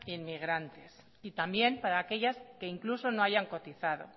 inmigrantes y también para aquellas que incluso no hayan cotizado